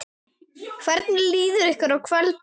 Hvernig líður ykkur í kvöld?